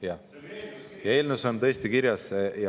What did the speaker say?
Jah, eelnõus on tõesti kirjas ...